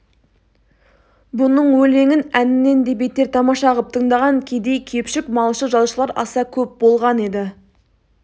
бұның өлеңін әнінен де бетер тамаша қып тыңдаған кедей-кепшік малшы-жалшылар аса көп болған еді